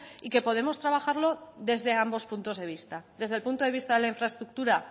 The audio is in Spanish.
y que podemos trabajarlo desde ambos puntos de vista desde el punto de vista de la infraestructura